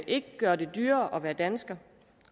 ikke gør det dyrere at være dansker